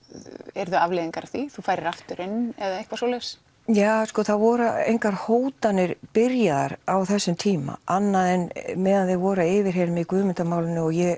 yrðu afleiðingar af því þú færir aftur inn eða eitthvað svoleiðis ja sko það voru engar hótanir byrjaðar á þessum tíma annað en meðan þeir voru að yfirheyra mig í Guðmundar málinu og ég